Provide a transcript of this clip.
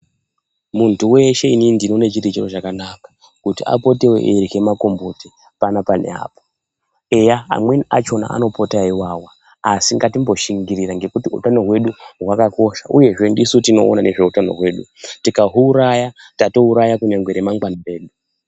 Muntu veshe inini ndinoone chiri chiro chakanaka kuti apotevo eirye makomboti panapa neapo. Eya amweni achona anopota eivava, asi ngatimboshingirira ngekuti utano hwedu hwakakosha, uyezve ndisu tinoona ngezveutano hwedu tikahuuraya tatouraya kunyangwe ramangwani redu.